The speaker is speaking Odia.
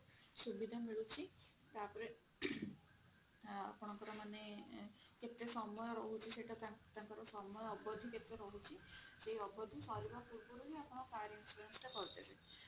ସୁବିଧା ମିଳୁଛି ତାପରେ ଆପଣଙ୍କର ମାନେ କେତେ ସମୟ ରହୁଛି ସେଟା ତାଙ୍କର ସମୟ ଅବଧି କେତେ ରହୁଛି ସେଇ ଅବଧି ସାରିବା ପୂର୍ବରୁ ହିଁ ଆପଣ car insurance ଟା କରିଦେବେ